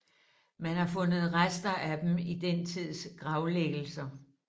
Man har fundet rester af dem i den tids gravlæggelser